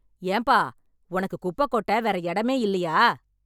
ஏன்பா, உனக்கு குப்பை கொட்ட வேற இடமே இல்லையா?